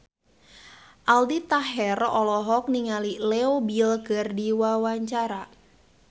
Aldi Taher olohok ningali Leo Bill keur diwawancara